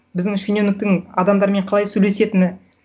біздің шенеуніктің адамдармен қалай сөйлесетіні